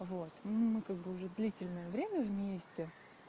вот мы как бы уже длительное время вместе